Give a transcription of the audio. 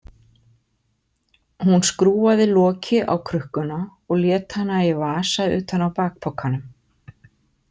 Hún skrúfaði loki á krukkuna og lét hana í vasa utan á bakpokanum.